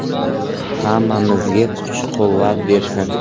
Hammamizga kuch-quvvat bersin!